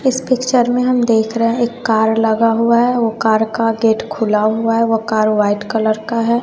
इस पिक्चर में हम देख रहे हैं एक कार लगा हुआ है वो कार का गेट खुला हुआ है वो कार वाइट कलर का है।